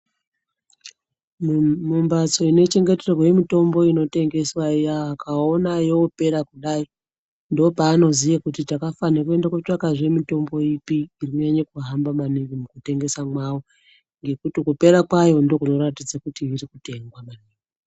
Mumbatso inochengeterwa mitombo inotengeswa iya vakaona yorepa kudai ndopavanoziya kuti takafana kotsvakazve mitombo ipi iri kunyanya kuhamba maningi mukutengesa kwavo ngekuti kupera kwayo ndokunoratidza kuti irikutengwa.